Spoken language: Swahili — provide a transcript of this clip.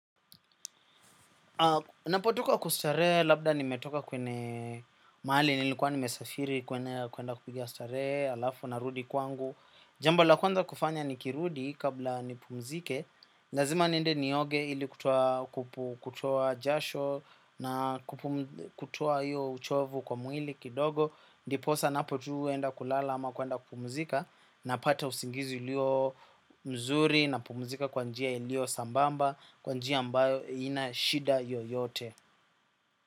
Napo toka kustare labda nimetoka kwene mali nilikuwa nimesafiri kwenda kupiga stare alafu narudi kwangu. Jambo la kuanza kufanya nikirudi kabla nipumzike. Lazima niende nioge ili kutoa jasho na kutoa hiyo uchovu kwa mwili kidogo. Ndiposa napotu enda kulala ama kwenda kupumzika napata usingizi ulio mzuri napumzika kwa njia ilio sambamba. Kwa njia ambayo inashida yoyote.